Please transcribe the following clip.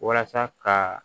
Walasa ka